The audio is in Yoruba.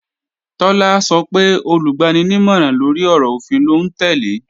Tọ́lá sọ pé Olùgbaninímọ̀ràn-lórí-ọ̀rọ̀-òfin lòún tẹ́lẹ̀